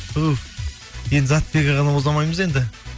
туһ енді заттыбек ағаны оза алмаймыз енді